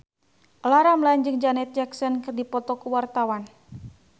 Olla Ramlan jeung Janet Jackson keur dipoto ku wartawan